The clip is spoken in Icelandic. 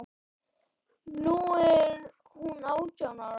Nú er hún átján ára.